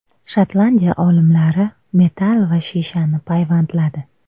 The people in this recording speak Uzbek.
Shotlandiya olimlari metall va shishani payvandladi.